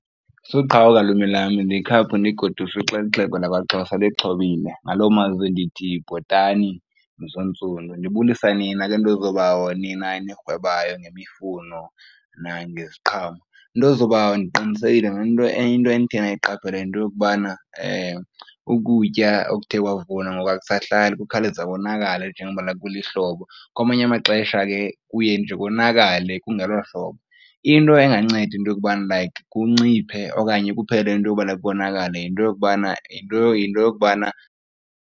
Suqhawuka lwimi lam ndikhaphe undigoduse uxele ixhego lakwaXhosa lixhobile, ngaloo mazwi ndithi bhotani mzontsundu. Ndibulisa nina ke nto zoobawo nina enirhwebayo ngemifuno nangeziqhamo. Nto zoobawo ndiqinisekile ngento enye into enithe nayiqaphela yinto yokubana ukutya okuthe kwavunwa ngoku akusahlali kukhawuleza konakale njengokubana kulihlobo. Kwamanye amaxesha ke kuye nje konakale kungelohlobo, into enganceda into yokuba like kunciphe okanye kuphele into yoba like konakale yinto yokubana, yinto, yinto yokubana.